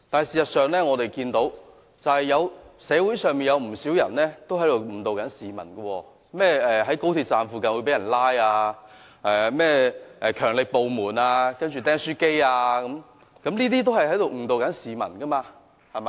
事實上，我們看到社會上有不少人正在誤導市民，例如在高鐵站附近會被人拘捕云云、甚麼"強力部門"、"釘書機"案等，均在誤導市民。